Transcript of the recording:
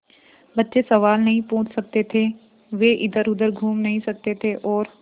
बच्चे सवाल नहीं पूछ सकते थे वे इधरउधर घूम नहीं सकते थे और